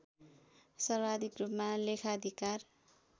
सर्वाधिक रूपमा लेखाधिकार